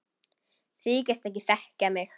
Þykist ekki þekkja mig!